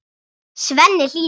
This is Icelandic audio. Svenni hlýðir.